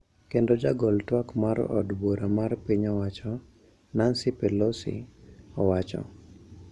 Kendo jagol twak mar od bura mar piny owacho, Nancy Pelosi, owacho ,